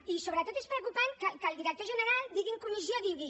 i sobretot és preocupant que el director general digui en comissió digui